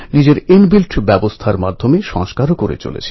কিন্তু আবহাওয়ার জন্য কখনও কখনও অসুখও ঘরে প্রবেশ করে